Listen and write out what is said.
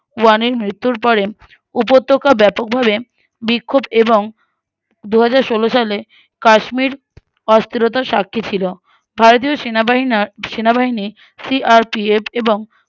বুরাং এর মৃত্যুর পরে উপত্যকা ব্যাপকভাবে বিক্ষোভ এবং দুহাজারষোলো সালে কাশ্মীর অস্থিরতার সাক্ষী ছিল ভারতীয় সেনাবাহিনা সেনাবাহিনী C. R. P. F. এবং